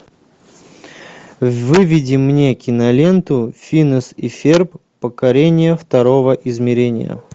выведи мне киноленту финес и ферб покорение второго измерения